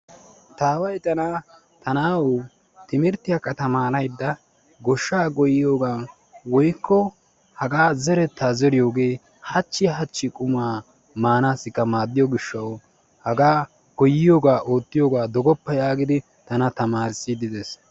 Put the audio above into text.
Taaway tana timirttiyaakka tamaaraydda goshsha goyyiyooga woykko haga zeretta zeriyooge hachchi hachchi qumma maanawukka maaddiyo gishshaw goyyiyooga oottiyooga dooggoppa yaagidi tana tamarisside des.